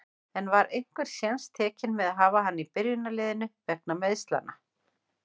En var einhver séns tekinn með að hafa hana í byrjunarliðinu, meiðslanna vegna?